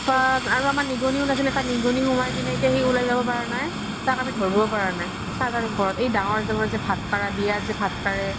উত্পাত আৰু আমাৰ নিগনী উলাইচি এটা নিগনী সোমাই কিনে এতিয়া সি উলাই যাব পাৰা নাই তাক আমি ধৰবও পাৰা নাই সাজাৰ ওপৰত এই দাঙৰ দাঙৰ যে বিয়াত যে ভাত কাৰে